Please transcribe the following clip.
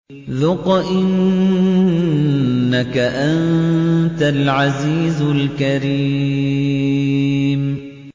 ذُقْ إِنَّكَ أَنتَ الْعَزِيزُ الْكَرِيمُ